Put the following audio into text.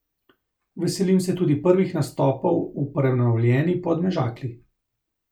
Veselim se tudi prvih nastopov v prenovljeni Podmežakli.